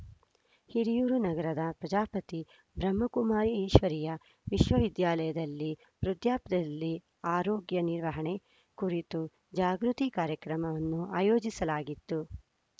ಹಿರಿಯೂರು ನಗರದ ಪ್ರಜಾಪತಿ ಬ್ರಹ್ಮಕುಮಾರಿ ಈಶ್ವರೀಯ ವಿಶ್ವವಿದ್ಯಾಲಯದಲ್ಲಿ ವೃದ್ಧಾಪ್ಯದಲ್ಲಿ ಆರೋಗ್ಯ ನಿರ್ವಹಣೆ ಕುರಿತು ಜಾಗೃತಿ ಕಾರ್ಯಕ್ರಮವನ್ನು ಆಯೋಜಿಸಲಾಗಿತ್ತು